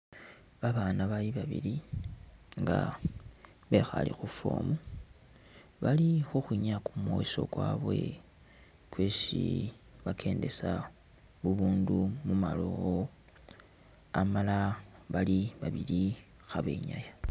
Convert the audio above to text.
Babaana bali babili nga bekhale khuform bali khukhwinyaya kumweso kwabwe kwesi bakendesa bubundu mumalowo amala bali babili khabenyaya